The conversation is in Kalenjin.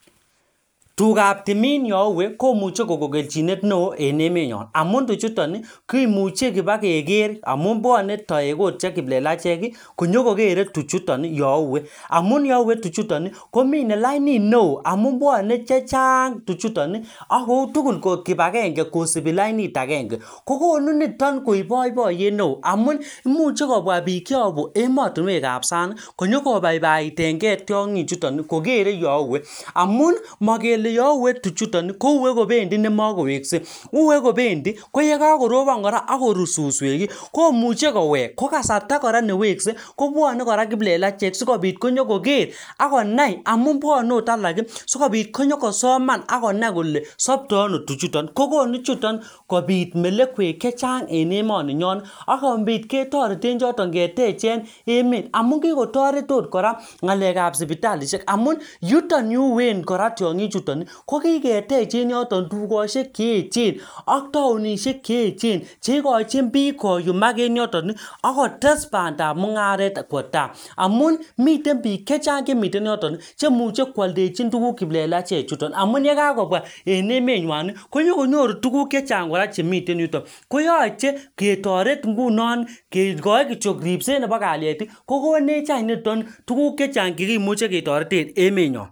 Tugaab timin youwe komuche kogo keljinet neo en emenyon amun tuchuton komuche bokeker amun bwone toek oot che kiplelachek konyokokere tuchuton youwe amun youwe tuchuton komine lainit neo amun bwone che chang tuchuton ak kou tugul kipakenge kosipi lainit agenge. Kokonu niton koip boiboiyet neo amun imuche kobwa biik cheabu ematinwekab sang konyokobaibaitenge tiongichuton koger youwe amun makele youwe tuchuton kouwe kopendi nemakowekse. Uwe kopendi, ko yekakorobon kora ak korut suswek komuche kowek. Kokasarta kora newekse kobwane kora kiplelachek sigopit konyokoker ak konai amun bwane agot alak sigopit konyokosoman ak konai kole sapto ano tuchuton, kokonu chuton kopit melekwek che chang en emoninyon ak kopit ketoreten choton ketechen emet amu kikotoret oot kora ngalekab sipitalisiek amun yuton yu uwen kora tiongichuton kokiketech en yutok tukosiek che eechen ak taonisiek che eechen che ikochin biik koyumak en yoton ak kotes bandap mu ngaret kwo taa. Amun miten biik chechang che miten yoton chemuche kwaldechin tuguk kiplelachechuton amun yekakobwa en emenywan konyokonyoru tuguk chechang kora chemiten yutok, koyoche ketoret ingunon kigoi kityok ripset nebo kalyet kokonechany niton tuguk che chang chekimuchi ketoroten emenyon.